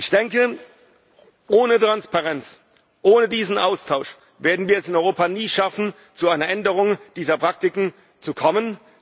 Ich denke, ohne Transparenz, ohne diesen Austausch, werden wir es in Europa nie schaffen, zu einer Änderung dieser Praktiken zu kommen.